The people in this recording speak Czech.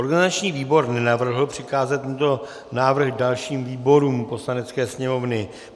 Organizační výbor nenavrhl přikázat tento návrh dalším výborům Poslanecké sněmovny.